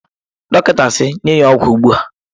Dọkịta si, nye ya ọgwụ ugbu a!